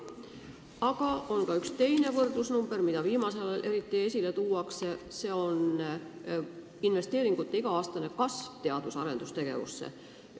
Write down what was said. Aga on ka üks teine võrdlusnumber, mida viimasel ajal eriti esile tuuakse: see on selle summa kasv, mis igal aastal teadus- ja arendustegevusse investeeritakse.